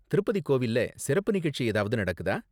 திருப்பதி கோவில்ல சிறப்பு நிகழ்ச்சி ஏதாவது நடக்குதா?